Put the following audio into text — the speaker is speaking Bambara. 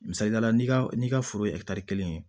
Misaliyala n'i ka n'i ka foro ye kelen ye